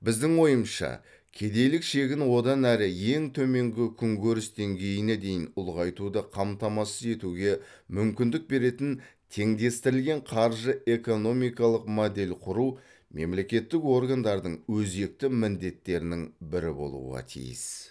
біздің ойымызша кедейлік шегін одан әрі ең төменгі күнкөріс деңгейіне дейін ұлғайтуды қамтамасыз етуге мүмкіндік беретін теңдестірілген қаржы экономикалық модель құру мемлекеттік органдардың өзекті міндеттерінің бірі болуға тиіс